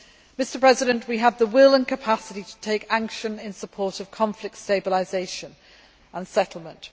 Mr President, we have the will and capacity to take action in support of conflict stabilisation and settlement.